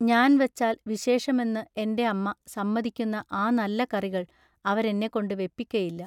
ഞാൻ വച്ചാൽ വിശേഷമെന്നു എന്റെ അമ്മ സമ്മതിക്കുന്ന ആ നല്ല കറികൾ അവരെന്നെക്കൊണ്ടു വയ്പിക്കയില്ല.